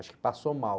Acho que passou mal.